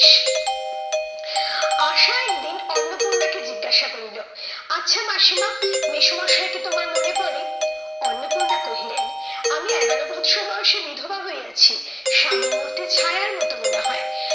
আশা একদিন অন্নপূর্ণাকে জিজ্ঞাসা করিল, আচ্ছা মাসিমা মেসোমশাই কে তোমার মনে পড়ে? অন্নপূর্ণা কহিলেন আমি এগারো বৎসর বয়সে বিধবা হইয়াছি, স্বামীর মূর্তি ছায়ার মতো মনে হয়।